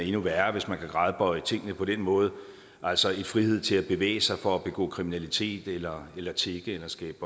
er endnu værre hvis man kan gradbøje tingene på den måde altså en frihed til at bevæge sig for at begå kriminalitet eller eller tigge eller skabe